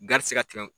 Garizigɛ